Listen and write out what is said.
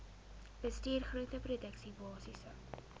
bestuur groenteproduksie basiese